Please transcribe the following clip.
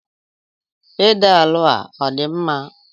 Pedalu a ọ dị mma?